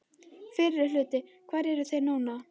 Fyrri hluti Hvar eru þeir nú?